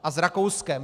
A s Rakouskem.